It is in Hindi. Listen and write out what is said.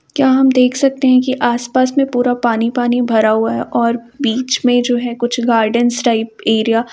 क्या हम देख सकते हैं की आस-पास मैं पूरा पानी-पानी भरा हुआ हैं और बीच मैं जो हैं कुछ गार्डन्स टाइप एरिया --